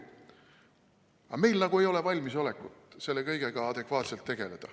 Aga meil nagu ei ole valmisolekut selle kõigega adekvaatselt tegeleda.